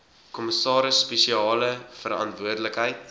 kommissaris spesiale verantwoordelikheid